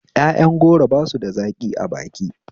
Yaƴan goro basu da zaƙi a baki